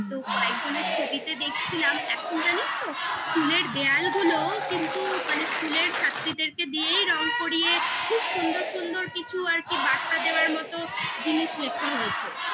তো কয়েকজনের ছবিতে দেখছিলাম এখন জানিস তো school এর দেয়ালগুলো কিন্তু মানে school এর ছাত্রীদেরকে দিয়েই রং করিয়ে খুব সুন্দর সুন্দর কিছু আর কি বার্তা দেওয়ার মতো জিনিস লেখা হয়েছে